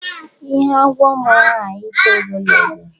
Ihe agwọ mụrụ aghaghị ito ogologo.